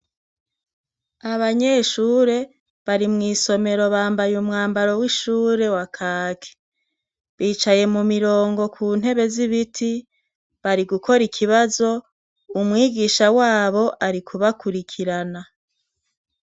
Abanyeshure bari mw'isomero bambaye umwambaro w'ishure wa kaki. Bicaye mumirongo kuntebe z'ibiti, bari gukora ikibazo, umwigisha wabo ari kubakurikirana.